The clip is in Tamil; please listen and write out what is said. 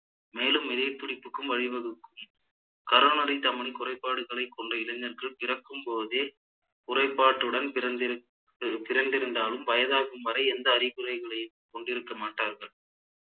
மேலும் இதயத்துடிப்புக்கும் வழிவகுக்கும் coronary தமனி குறைபாடுகளை கொண்ட இளைஞர்கள் பிறக்கும் போதே குறைபாட்டுடன் பிறந்திருத்த்~ பிறந்திருந்தாலும் வயதாகும் வரை எந்த அறிகுறிகளை கொண்டிருக்க மாட்டார்கள்